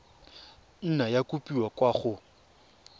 nna ya kopiwa kwa go